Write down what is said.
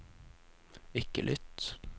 ikke lytt